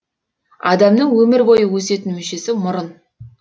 адамның өмір бойы өсетін мүшесі мұрын